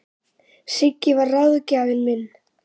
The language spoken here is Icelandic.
Siggi var ráðgjafinn minn.